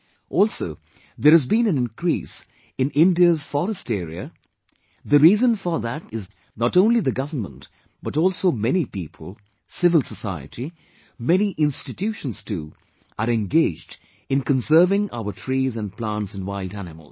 Also, there has been an increase in India's forest area, the reason for this is that not only the government but also many people, civil society, many institutions too are engaged in conserving our trees and plants and wild animals